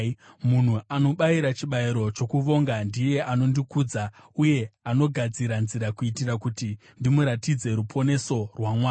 Munhu anobayira chibayiro chokuvonga ndiye anondikudza, uye anogadzira nzira kuitira kuti ndimuratidze ruponeso rwaMwari.”